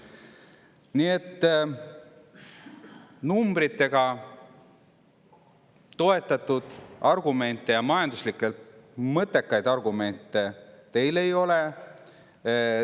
Nii et numbritega toetatud argumente ja majanduslikult mõttekaid argumente teil ei ole.